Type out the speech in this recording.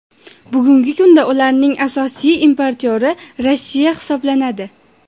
Bugungi kunda ularning asosiy importyori Rossiya hisoblanadi.